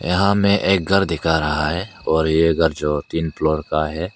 यहां में एक घर दिखा रहा है और ये घर जो तीन फ्लोर का है।